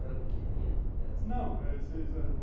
Era pequenininha o resto, não!